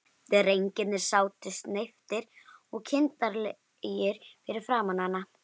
Drengirnir sátu sneyptir og kindarlegir fyrir framan hana.